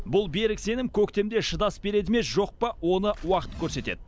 бұл берік сенім көктемде шыдас береді ме жоқ па оны уақыт көрсетеді